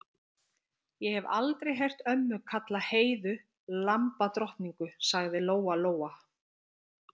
Ég hef aldrei heyrt ömmu kalla Heiðu lambadrottningu, sagði Lóa-Lóa.